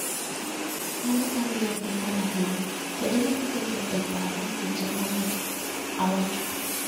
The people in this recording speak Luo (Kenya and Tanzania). Mano en wer maber ahinya. Be inyalo keto e paro weche ma ne awacho?